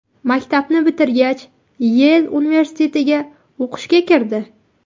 Maktabni bitirgach, Yel universitetiga o‘qishga kirdi.